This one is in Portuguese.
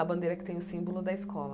A bandeira que tem o símbolo da escola.